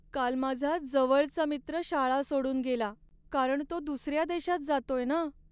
काल माझा जवळचा मित्र शाळा सोडून गेला, कारण तो दुसऱ्या देशात जातोय ना!